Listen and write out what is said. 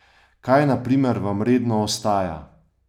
Kaj na primer vam redno ostaja?